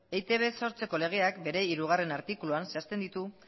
eitb sortzeko legeak bere hirugarrena artikuluan zehazten ditu